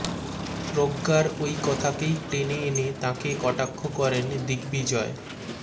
প্রজ্ঞার ওই কথাকেই টেনে এনে তাঁকে কটাক্ষ করেন দিগ্বিজয়